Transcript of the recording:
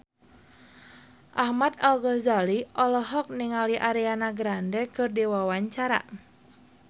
Ahmad Al-Ghazali olohok ningali Ariana Grande keur diwawancara